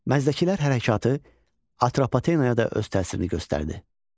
Məzdəkilər hərəkatı Atropatenaya da öz təsirini göstərdi.